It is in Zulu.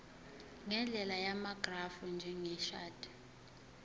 ngendlela yamagrafu njengeshadi